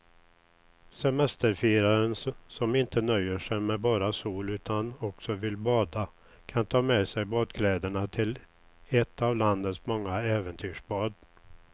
Semesterfiraren som inte nöjer sig med bara sol utan också vill bada kan ta med sig badkläderna till ett av landets många äventyrsbad.